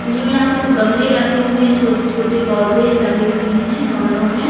नई यहां पे तो गमले रखे हुए छोटे छोटे पौधे लगे हुए हैं गमलों में।